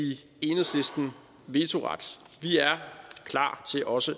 enhedslisten vetoret vi er klar til også